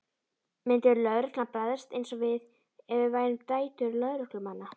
Myndi lögreglan bregðast eins við ef við værum dætur lögreglumanna?